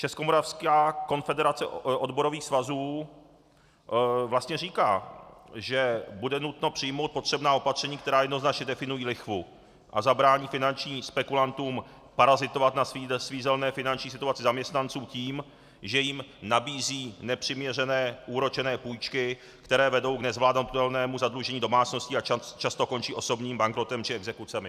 Českomoravská konfederace odborových svazů vlastně říká, že bude nutno přijmout potřebná opatření, která jednoznačně definují lichvu a zabrání finančním spekulantům parazitovat na svízelné finanční situaci zaměstnanců tím, že jim nabízí nepřiměřeně úročené půjčky, které vedou k nezvládnutelnému zadlužení domácností a často končí osobním bankrotem či exekucemi.